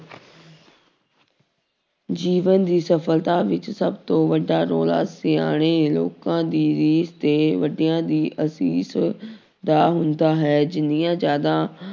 ਜੀਵਨ ਦੀ ਸਫ਼ਲਤਾ ਵਿੱਚ ਸਭ ਤੋਂ ਵੱਡਾ ਰੌਲਾ ਸਿਆਣੇ ਲੋਕਾਂ ਦੀ ਵੀ ਤੇ ਵੱਡਿਆਂ ਦੀ ਅਸ਼ੀਸ਼ ਦਾ ਹੁੰਦਾ ਹੈ ਜਿੰਨੀਆਂ ਜ਼ਿਆਦਾ